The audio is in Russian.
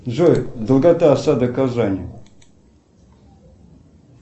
джой долгота осады казани